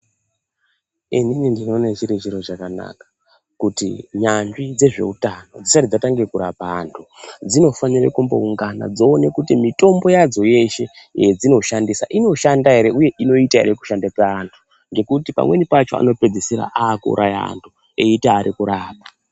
Inini ndinoone zviri zviro zvakanaka kuti nyanzvi dzezveutano dzisati dzatange kurapa antu dzinofanire kumbooungana dzoona kuti mutombo yadzo yeshe yedzinoshandisa dzinoshanda ere, uye inoita ere kushanda paantu. Ngekuti pamweni pacho anopedzisira akuuraya antu aiti ari kurapa.